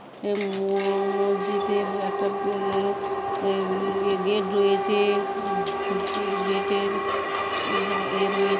এ ম-মসজিতে একটা গেট রয়েছে। গে-গেট এর রয়ে--